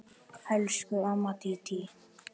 Elsku amma Dídí.